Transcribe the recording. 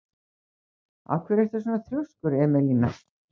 Af hverju ertu svona þrjóskur, Emelína?